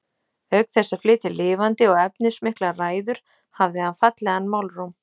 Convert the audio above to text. Auk þess að flytja lifandi og efnismiklar ræður hafði hann fallegan málróm.